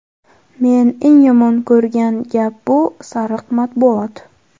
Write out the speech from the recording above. men eng yomon ko‘rgan gap bu – "sariq matbuot".